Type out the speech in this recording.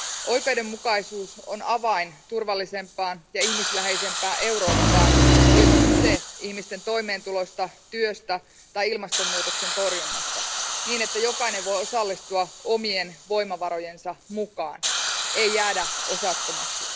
Oikeudenmukaisuus on avain turvallisempaan ja ihmisläheisempään Eurooppaan olipa kyse ihmisten toimeentulosta, työstä tai ilmastonmuutoksen torjunnasta, niin että jokainen voi osallistua omien voimavarojensa mukaan, ei jäädä osattomaksi.